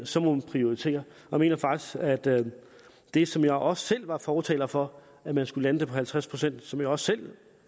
så må man prioritere jeg mener faktisk at det det som jeg også selv var fortaler for at man skulle lande det på halvtreds pct som jeg også selv